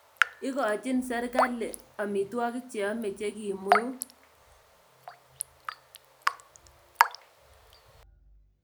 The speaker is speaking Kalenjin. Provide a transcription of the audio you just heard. Ikoochin serikali amitwogik cheyame chekimweu